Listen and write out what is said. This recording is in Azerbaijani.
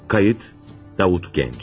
Qeyd: Davud Gənc.